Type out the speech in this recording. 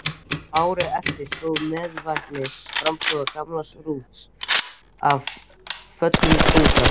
Árið eftir sló mæðiveikin fjárstofn gamla Rúts af fullum þunga.